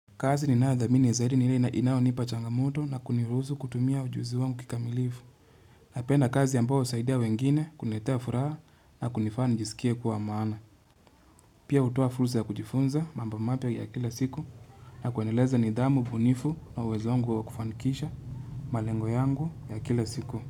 Kazi ninaadhamini ya zaidi nile inaonipa changamoto na kuniruzu kutumia ujuzi wangu kikamilifu. Na penda kazi ambayo usaidia wengine kuniletea furaha na kunifanya nijisikia kuwa amana. Pia utoa fulza ya kujifunza mambo mapya ya kila siku. Na kuaneleza ni idamu, bunifu na uwezongu wa kufanikisha. Malengo yangu ya kila siku.